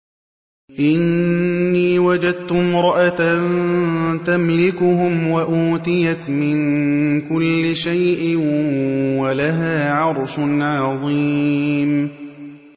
إِنِّي وَجَدتُّ امْرَأَةً تَمْلِكُهُمْ وَأُوتِيَتْ مِن كُلِّ شَيْءٍ وَلَهَا عَرْشٌ عَظِيمٌ